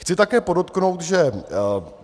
Chci také podotknout, že...